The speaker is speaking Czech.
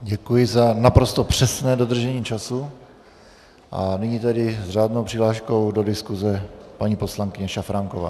Děkuji za naprosto přesné dodržení času a nyní tedy s řádnou přihláškou do diskuse paní poslankyně Šafránková.